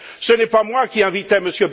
Ce n'est pas moi qui ai invité